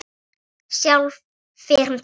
Sjálf fer hún til pabba.